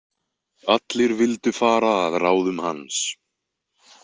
Allir vildu fara að ráðum hans.